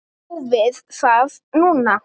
Prófið það núna.